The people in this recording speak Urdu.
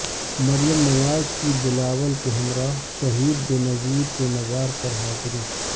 مریم نواز کی بلاول کے ہمراہ شہید بےنظیر کے مزار پر حاضری